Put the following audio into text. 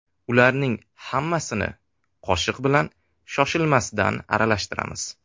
Ularning hammasini qoshiq bilan shoshilmasdan aralashtiramiz.